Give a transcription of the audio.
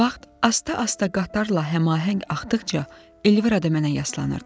Vaxt asta-asta qatarla həmahəng axdıqca Elvira da mənə yaslanırdı.